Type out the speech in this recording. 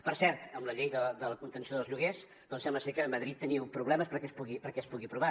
per cert amb la llei de la contenció dels lloguers sembla ser que a madrid teniu problemes perquè es pugui aprovar